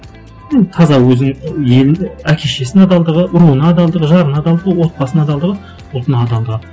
таза өзінің әке шешесіне адалдығы ұлына адалдығы жарына адалдығы отбасына адалдығы ұлтына адалдығы